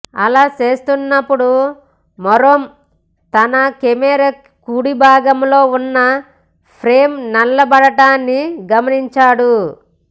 అలా చేస్తున్నప్పుడు మరోమ్ తన కెమెరా కుడి భాగంలో ఉన్న ఫ్రేమ్ నల్లబడటాన్ని గమనించాడు